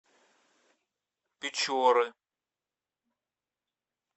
печоры